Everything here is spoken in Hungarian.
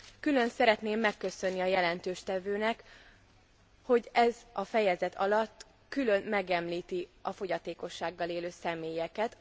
Külön szeretném megköszönni a jelentéstevőnek, hogy ez alatt a fejezet alatt külön megemlíti a fogyatékossággal élő személyeket.